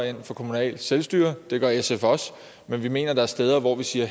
ind for kommunalt selvstyre det gør sf også men vi mener at der er steder hvor vi siger at